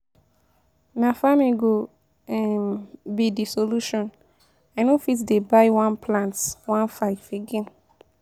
Na farming go um be de um solution, i no fit dey buy one plate #1500 again.